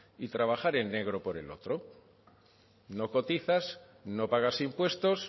y trabajar en negro por el otro no cotizas no pagas impuestos